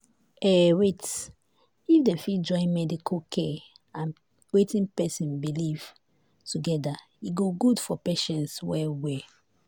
eh wait — if dem fit join medical care and wetin people believe together e go good for patients well well.